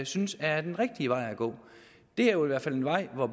synes er den rigtige at gå det er jo i hvert fald en vej